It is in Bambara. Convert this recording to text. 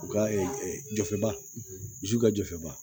U ka jɔfɛ ba zu ka jɔfɛba